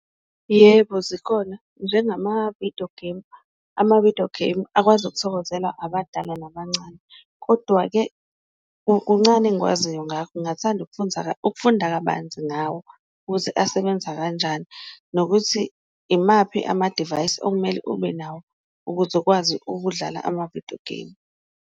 Yebo, zikhona njengama-video game, ama-video game akwazi ukuthokozela abadala nabancane kodwa-ke kuncane engikwaziyo ngingathanda ukufunda kabanzi ngawo ukuthi asebenza kanjani. Nokuthi imaphi amadivayisi okumele ubenawo ukuze ukwazi ukudlala ama-video game.